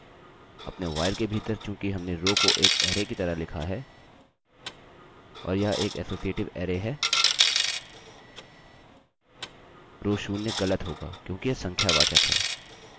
अपने while के भीतर चूँकि हमने रोrow को एक अरैarray की तरह लिखा है और यह एक असोसीएटिव अरैarray है row0 ग़लत होगा क्योंकि यह संख्यावाचक हैं